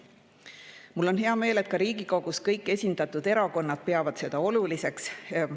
Mul on hea meel, et ka kõik Riigikogus esindatud erakonnad peavad seda oluliseks.